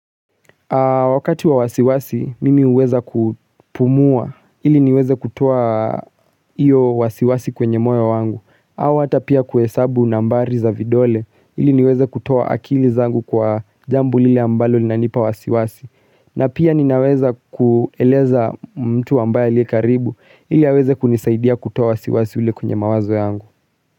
Wakati wa wasiwasi, mimi huweza kupumua ili niweze kutoa hiyo wasiwasi kwenye moyo wangu au hata pia kuhesabu nambari za vidole ili niweze kutoa akili zangu kwa jambo lile ambalo linanipa wasiwasi na pia ninaweza kueleza mtu ambaye aliye karibu ili aweze kunisaidia kutoa wasiwasi ule kwenye mawazo yangu.